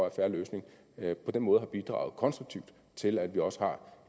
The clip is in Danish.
at fair løsning på den måde har bidraget konstruktivt til at vi også har